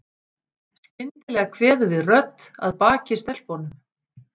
Skyndilega kveður við rödd að baki stelpunum.